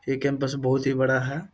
ये कैंपस बहुत ही बड़ा है।